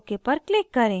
ok पर click करें